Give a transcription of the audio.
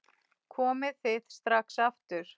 Komið þið strax aftur!